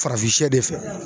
Farafinsɛ de fɛ.